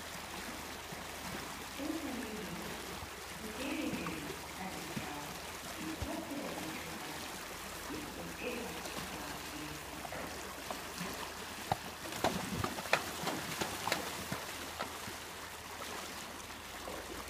Cookaliiji, ɗo jeerindiri haa nder caago, min ɗo naftira be cookali, min ɗo defa haako be may.